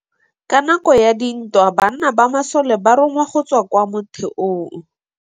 Ka nakô ya dintwa banna ba masole ba rongwa go tswa kwa mothêô.